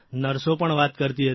નર્સો પણ વાત કરતી હતી